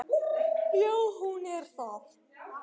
Já, hún er það.